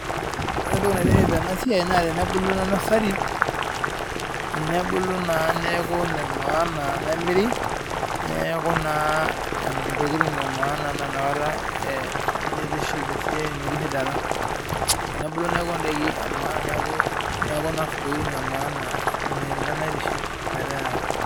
Oreentoki naitiship enasiai naa tenebulu ena nursery nebulu naa neaku enemaana , nemiri neku naa ntokitin emaana naa inakata itiship esiai metisidana tenebulu neaku indaiki emaana .